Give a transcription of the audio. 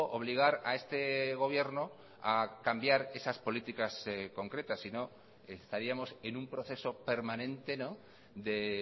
obligar a este gobierno a cambiar esas políticas concretas sino estaríamos en un proceso permanente de